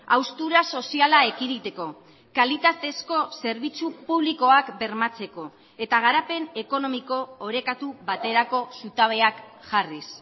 haustura soziala ekiditeko kalitatezko zerbitzu publikoak bermatzeko eta garapen ekonomiko orekatu baterako zutabeak jarriz